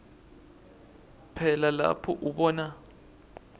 phela lapho ubona